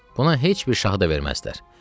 Buna heç bir şahı da verməzdilər.